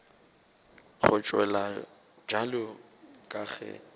go tšewa bjalo ka ge